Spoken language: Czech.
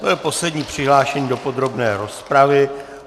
To byl poslední přihlášený do podrobné rozpravy.